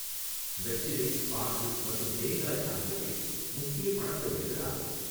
வெற்றிலை, பாக்கு மற்றும் தேங்காய் ஆகியவை முக்கிய பணப் பயிர்களாகும்.